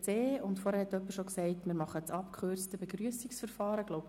Zuvor hatte bereits jemand gesagt, dass wir das abgekürzte Begrüssungsverfahren wählen.